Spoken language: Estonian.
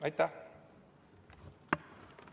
Aitäh!